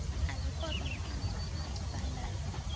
a dziposo na a standard